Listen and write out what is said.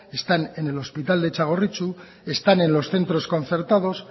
están en el hospital de txagorritxu están en los centros concertados